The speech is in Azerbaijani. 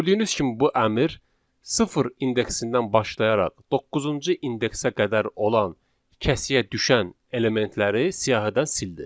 Gördüyünüz kimi bu əmr sıfır indeksindən başlayaraq doqquzuncu indeksə qədər olan kəsiyə düşən elementləri siyahıdan sildi.